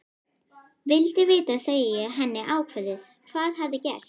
Vildi vita, segi ég henni ákveðið, hvað hafði gerst.